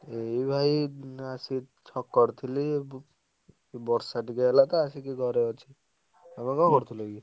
ଏଇ ଭାଇ ଆସି ଛକରେ ଥିଲି ବର୍ଷା ଟିକେ ହେଲା ତ ଆସିକି ଘରେ ଅଛି। ତମେ କଣ କରୁଥିଲ କି?